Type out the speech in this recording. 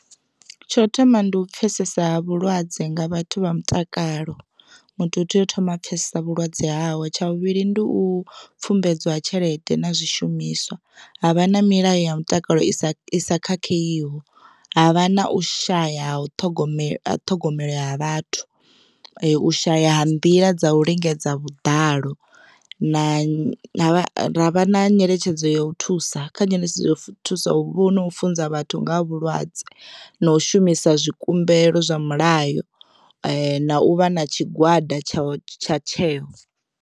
Tsho thoma ndi u pfesesa vhulwadze nga vhathu vha mutakalo muthu u tea u thoma a pfhesesa vhulwadze hawe tsha vhuvhili ndi u pfumbedzwa ha tshelede na zwishumiswa havha na milayo ya mutakalo i sa khakheiho, havha na u shaya ha u ṱhogomela ṱhogomelo ya vhathu u shaya ha nḓila dza u lingedza vhuḓalo na ra vha na nyeletshedzo ya u thusa kha tsheletshedzo ya u thusa huvha na u funza vhathu nga ha vhulwadze na u shumisa zwikumbelo zwa mulayo na u vha na tshigwada tsha tsha tsheo.